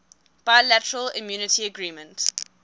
bilateral immunity agreement